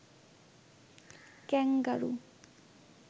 kangaroo